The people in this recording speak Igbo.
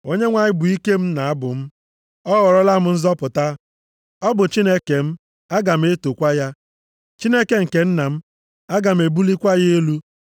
“ Onyenwe anyị bụ ike m na abụ m. Ọ ghọrọla m nzọpụta. Ọ bụ Chineke m, aga m etokwa ya, Chineke nke nna m, aga m ebulikwa ya elu.